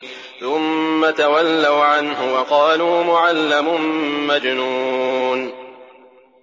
ثُمَّ تَوَلَّوْا عَنْهُ وَقَالُوا مُعَلَّمٌ مَّجْنُونٌ